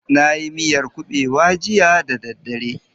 Na yi miyar kuɓewa jiya da daddare.